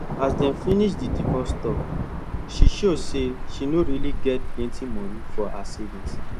as dem finish the divorce talk she show say she no really get plenty money for her savings